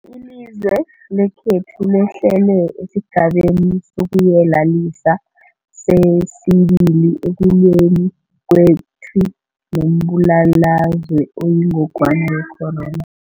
Ilizwe lekhethu lehlele esiGabeni sokuYelelisa sesi-2 ekulweni kwethu nombulalazwe oyingogwana ye-corona.